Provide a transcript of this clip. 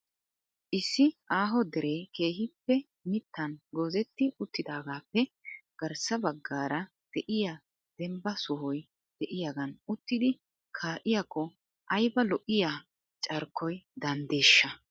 Issi aaho deree keehippe mittan goozeti uttidaagappe garssa baggaara de'iyaa dembba sohoy de'iyaagan uttidi kaa'iyaakko aybba lo"iyaa carkloy danddeshsha .